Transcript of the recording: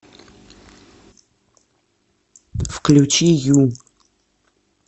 включи ю